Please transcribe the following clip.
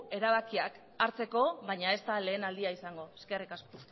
erabakiak hartzeko baina ez da lehen aldia izango eskerrik asko